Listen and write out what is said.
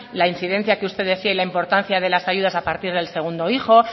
la incidencia que usted decía y la importancia de las ayudas a partir del segundo hijo